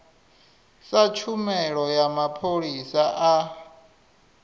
sa tshumelo ya mapholisa a